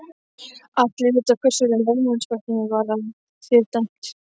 Allir vita hvers vegna lögmannsembættið var af þér dæmt!